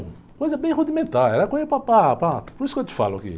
Coisa bem rudimentar, era coisa para, para, para... Por isso que eu te falo aqui.